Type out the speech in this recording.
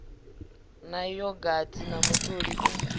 na yogathi na mutoli u